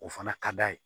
O fana ka d'a ye